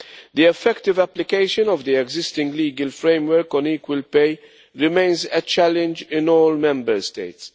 The effective application of the existing legal framework on equal pay remains a challenge in all Member States.